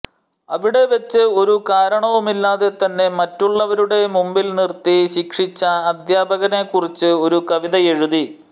അവിടെ വെച്ച് ഒരു കാരണവുമില്ലാതെ തന്നെ മറ്റുള്ളവരുടെ മുമ്പിൽ നിർത്തി ശിക്ഷിച്ച അദ്ധ്യാപകനെക്കുറിച്ച് ഒരു കവിത എഴുതി